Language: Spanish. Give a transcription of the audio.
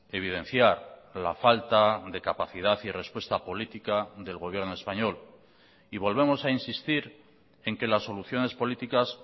evidenciar la falta de capacidad y respuesta política del gobierno español y volvemos a insistir en que las soluciones políticas